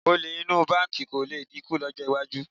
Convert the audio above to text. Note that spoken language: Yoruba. Olè inú báǹkì kò lè dínkù lọ́jọ́ iwájú